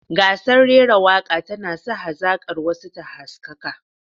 Gasar rera waka tana sa hazakar wasu ta haskaka.